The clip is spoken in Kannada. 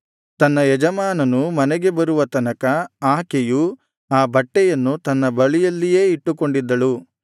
ತನ್ನ ಯಜಮಾನನು ಮನೆಗೆ ಬರುವ ತನಕ ಆಕೆಯು ಆ ಬಟ್ಟೆಯನ್ನು ತನ್ನ ಬಳಿಯಲ್ಲಿಯೇ ಇಟ್ಟುಕೊಂಡಿದ್ದಳು